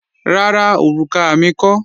Rárá, òrùka mi kọ́